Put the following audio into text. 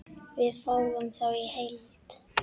Við fáum þá í heild